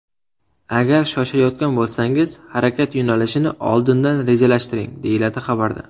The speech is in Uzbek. Agar shoshayotgan bo‘lsangiz, harakat yo‘nalishini oldingan rejalashtiring”, deyiladi xabarda.